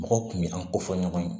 Mɔgɔw kun bɛ an ko fɔ ɲɔgɔn ye